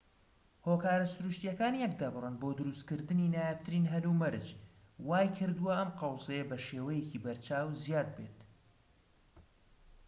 هۆکارە سروشتیەکان یەکدەبڕن بۆ دروستکردنی نایابترین هەلومەرج وای کردوە ئەم قەوزەیە بەشێوەیەکی بەرچاو زیاد ببێت